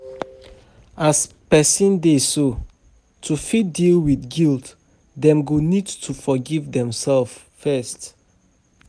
As person dey so, to fit deal with guilt dem go need to forgive dem self first